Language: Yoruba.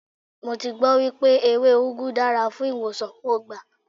Mo ti gbọ́ wípé ewé úgú dára fún ìwòsàn, mo gbà.